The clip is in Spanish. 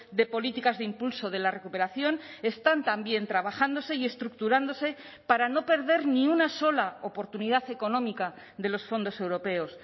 de políticas de impulso de la recuperación están también trabajándose y estructurándose para no perder ni una sola oportunidad económica de los fondos europeos